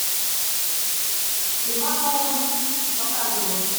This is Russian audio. ивановы показывай